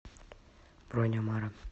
бронь амара